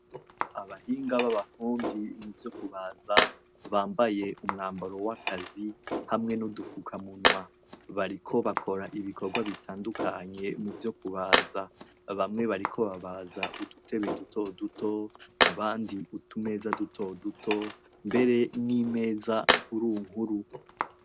Abahinga b'abafundi muvyo kubaza, bambaye umwambaro w'akazi, kimwe n'udufukamunwa. Bariko bakora ibikorwa bitandukanyue muvyo kubaza. Bamwe bariko babaza udutebe dutoduto, abandu utumeza dutoduto, mbere n'imeza nkurunkuru.